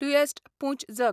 प्लुयॅस्ट पूं ज